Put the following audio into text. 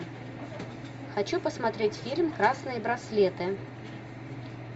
хочу посмотреть фильм красные браслеты